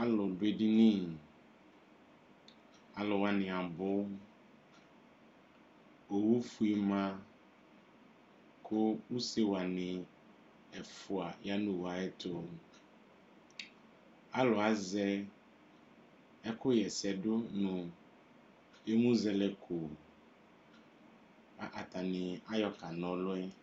Alʊ duedini Alʊwani abʊ Owufi ma Kʊ usewani ɛfʊa ya nu owu yɛ tu Alʊ azɛ ɛkʊ ɣɛsɛdʊ nʊ emuzɛlɛko ka atani ayɔkana ɔlɔ yɛ